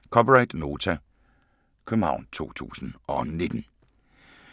(c) Nota, København 2019